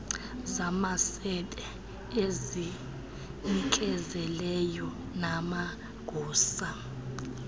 zamasebe ezizinikezeleyo namagosa